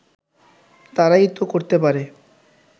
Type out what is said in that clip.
তারাই তো করতে পারে